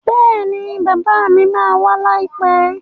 Bẹ́ẹ̀ni bàbá mi ma wá láìpẹ́